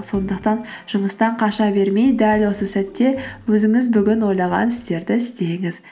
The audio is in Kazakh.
сондықтан жұмыстан қаша бермей дәл осы сәтте өзіңіз бүгін ойлаған істерді істеңіз